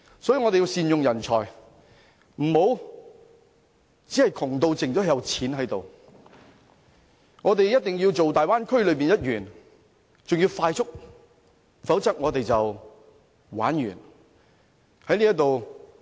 所以，我們要善用人才，不能窮得只有錢，我們必須成為大灣區內的一員，還要迅速，否則我們便玩完。